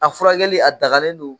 A furakɛli a dagalen don